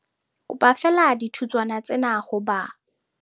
Kopa feela dithutswana tsena ho ba